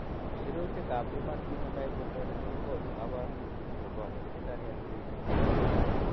Sirutikab Human Phenotype Ontology kokonu koborunoikchu chebo Hereditary angioedema.